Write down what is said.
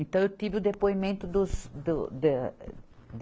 Então, eu tive o depoimento dos, do, da